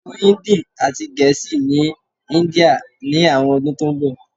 so Hindi ati Gẹẹsi ni India ni awọn ọdun to nbọ